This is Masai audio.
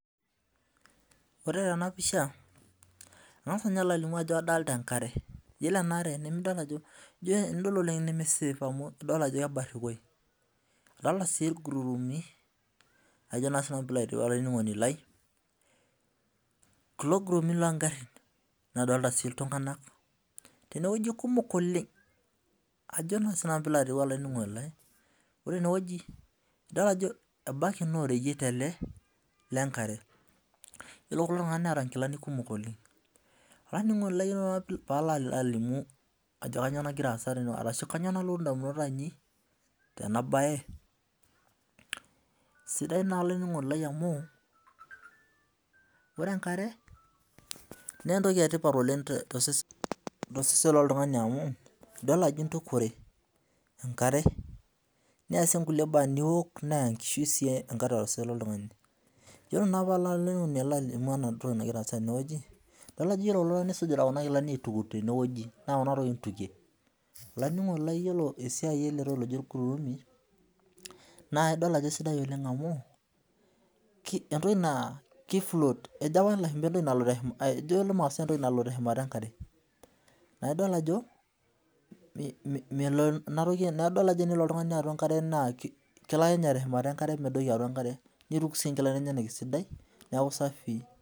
Ore tenapisha kangasa alo alimu ajo kadolita enkare ore enaare nemesafe amu idolta ajo kebarikoi adolta si irgururumi kulo kugururumi longarin nadolta si ltunganak teneweuji kumok oleng ajo na sinanu pilo aningu olaininingoni lai ebaki na oreyiet ele lenkare yiolo kulo tunganak neeta nkilani kumok Oleng, olaininingoni lai ore palo alimu ajo kanyio nagira aasa ashu kanyio nalotu ndamunot ainei tenabae sidai na olaininingoni lai amu ore enkare na entoki etipat oleng tosesen loltungani niasie nkulie baa niok na enkishui oltungani yiolo naa palo aliku entoki nagira aasa tenewueji idol ajo egira, olaininingoni lai iyolo esiai eletoki oji orgururumi na entoki nalo shumata enkare na idol ajo enelo oltungani atua enkare na kelo akenye teshumata enkare nituk nkilani enyenak neaku safii.